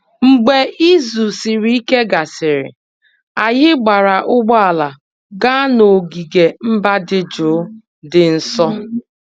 Mgbe izu siri ike gasịrị, anyị gbaara ụgbọ ala gaa n'ogige mba dị jụụ dị nso